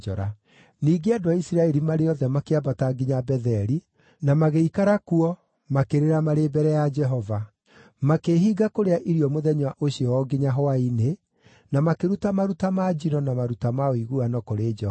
Ningĩ andũ a Isiraeli, marĩ othe, makĩambata nginya Betheli, na kũu magĩikara kuo makĩrĩra marĩ mbere ya Jehova. Makĩĩhinga kũrĩa irio mũthenya ũcio o nginya hwaĩ-inĩ, na makĩruta maruta ma njino na maruta ma ũiguano kũrĩ Jehova.